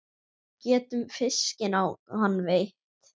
Getum fiskinn á hann veitt.